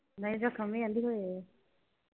ਨਈਂ ਜਖ਼ਮ ਨਈਂ ਆਂਹਦੀ ਹੋਏ ਹੋਏ।